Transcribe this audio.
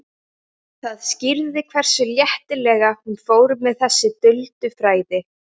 Það skýrði hversu léttilega hún fór með þessi duldu fræði.